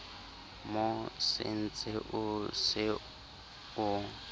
mo sentseng o se o